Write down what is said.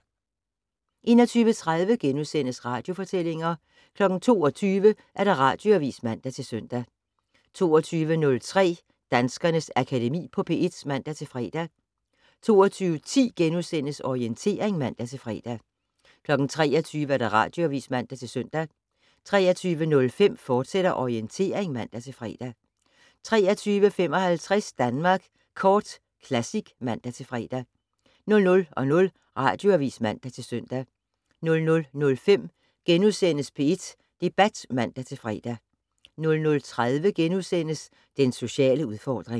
21:30: Radiofortællinger * 22:00: Radioavis (man-søn) 22:03: Danskernes Akademi på P1 (man-fre) 22:10: Orientering *(man-fre) 23:00: Radioavis (man-søn) 23:05: Orientering, fortsat (man-fre) 23:55: Danmark Kort Classic (man-fre) 00:00: Radioavis (man-søn) 00:05: P1 Debat *(man-fre) 00:30: Den sociale udfordring *